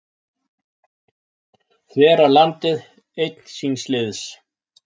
Þverar landið einn síns liðs